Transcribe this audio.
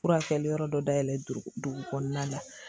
Furakɛli yɔrɔ dɔ dayɛlɛ dugu dugu kɔnɔna na